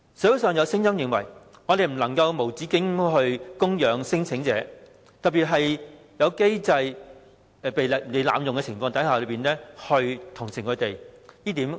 社會認為我們不能無止境供養聲請者，不應該在機制被濫用的情況下同情他們。